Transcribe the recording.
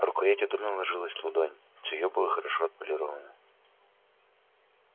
рукоять удобно ложилась в ладонь цевьё было хорошо отполировано